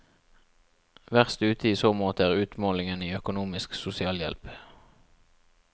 Verst ute i så måte er utmålingen i økonomisk sosialhjelp.